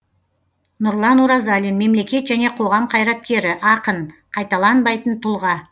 нұрлан оразалин мемлекет және қоғам қайраткері ақын қайталанбайтын тұлға